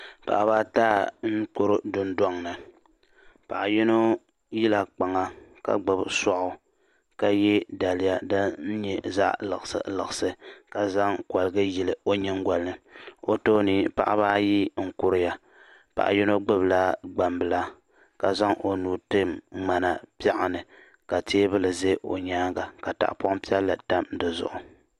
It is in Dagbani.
Paɣaba ata n kuri dun dɔŋ ni. paɣiyinɔ yila kpaŋa kagbubi sɔɣu ka ye daliya din nyɛ zaɣi liɣiri liɣiri. ka zaŋ koligu n yili ɔ nyiŋ golini. ɔtooni paɣaba ayi n kuriya. paɣi yinɔ gbubi la gban bila. kazaŋ ɔnuu n tim mŋana pɛɣuni. ka teebuli ɔ nyaaŋa katahipɔn piɛli tam di zuɣu